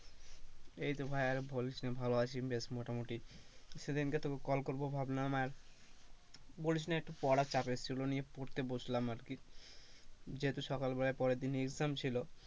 এইতো ভাই আর বলিস না ভালোই আছি, বেশ মোটা মটি সেদিনকে তোকে call করব ভাবলাম আর বলিস না একটু পড়ার চাপে ছিলাম পড়তে বসলাম আর কি যেহেতু সকালবেলায় পরে দিন exam ছিলো,